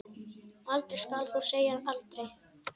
Aldrei skal þó segja aldrei.